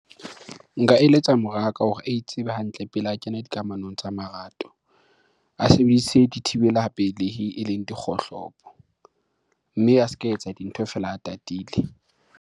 Nka eletsa moraka hore a itsebe hantle pele a kena dikamanong tsa marato. A sebedise dithibela pelehi eleng dikgohlopo. Mme a ska etsa dintho feela a tatile.